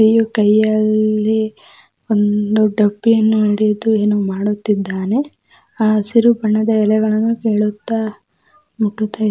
ಇವ್ರು ಕೈಯಲ್ಲಿ ಒಂದು ಡಬ್ಬಿಯನ್ನು ಹಿಡಿದು ಏನೋ ಮಾಡುತ್ತಿದ್ದಾನೆ ಆ ಹಸಿರು ಬಣ್ಣದ ಎಲೆಗಳನ್ನು ಮುಟ್ಟುತ್ತಾ --